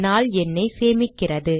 நாள் எண்ணைச் சேமிக்கிறது